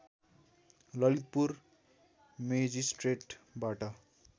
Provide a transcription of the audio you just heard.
Lalitpur मेजिष्ट्रेटबाट